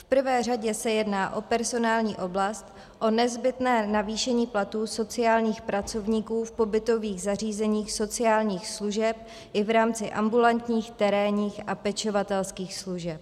V prvé řadě se jedná o personální oblast, o nezbytné navýšení platů sociálních pracovníků v pobytových zařízeních sociálních služeb i v rámci ambulantních, terénních a pečovatelských služeb.